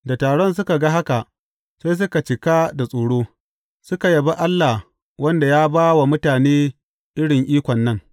Da taron suka ga haka, sai suka cika da tsoro, suka yabi Allah wanda ya ba wa mutane irin ikon nan.